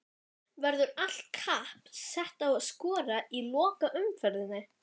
Verður allt kapp sett á að skora í lokaumferðinni?